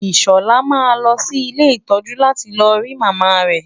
Ìṣọ̀lá máa lọ sí ilé ìtọ́jú láti lọ rí Màmá rẹ.